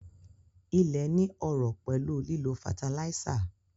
Ilé ní ọrọ̀ pẹ̀lú lílo fataláísà